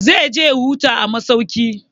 Zai je ya huta a masauki.